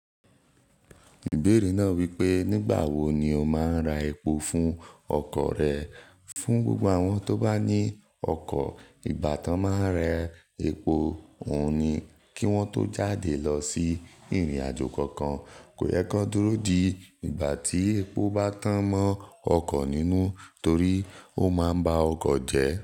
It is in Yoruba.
Ìbéèrè náà wípé, nígbà wo ni o máa ń ra epo fún ọkọ̀ rẹ. Fún gbogbo àwọn tó bá ní ọkọ̀, ìgbà tó máa ń rẹ epo, òun ni kí wọ́n tó jáde lọ sí ìrìnàjò kankan. Kò yẹ kí wọ́n dúró di ìgbà tí epo bá tán mọ́ ọkọ̀ nínú torí ó máa ń ba ọkọ̀ jẹ́.